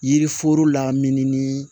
Yiriforo lamini ni